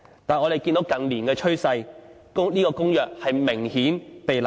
但是，我們看到近年的趨勢，這公約明顯被濫用。